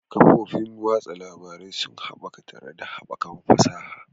Kafofin watsa labarai sun haɓaka tare da haɓakar fasaha.